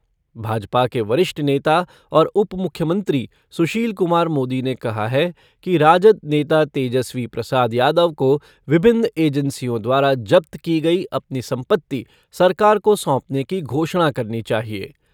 भाजपा के वरिष्ठ नेता और उप मुख्यमंत्री सुशील कुमार मोदी ने कहा है कि राजद नेता तेजस्वी प्रसाद यादव को विभिन्न एजेंसियों द्वारा जब्त की गयी अपनी संपत्ति सरकार को सौंपने की घोषणा करनी चाहिए।